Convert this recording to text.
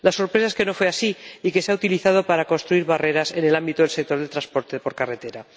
La sorpresa es que no fue así y que se ha utilizado para construir barreras en el ámbito del sector del transporte por carretera.